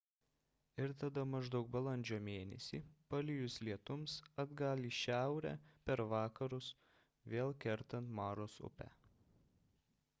ir tada maždaug balandžio mėnesį palijus lietums atgal į šiaurę per vakarus vėl kertant maros upę